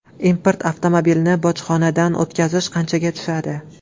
Import avtomobilni bojxonadan o‘tkazish qanchaga tushadi?.